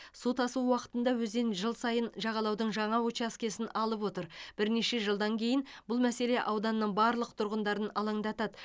су тасу уақытында өзен жыл сайын жағалаудың жаңа учаскесін алып отыр бірнеше жылдан кейін бұл мәселе ауданның барлық тұрғындарын алаңдатады